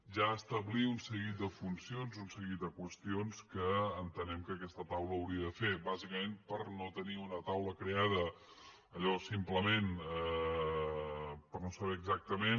ja establir un seguit de funcions un seguit de qüestions que entenem que aquesta taula hauria de fer bàsicament per no tenir una taula creada allò simplement per no saber exactament